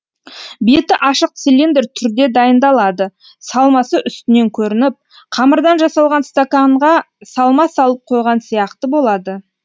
беті ашық цилиндр түрде дайындалады салмасы үстінен көрініп қамырдан жасалған стақанға салма салып қойған сияқты болады